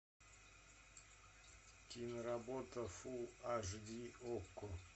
киноработа фул аш ди окко